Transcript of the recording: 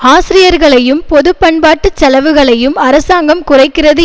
ஆசிரியர்களையும் பொது பண்பாட்டு செலவுகளையும் அரசாங்கம் குறைக்கிறது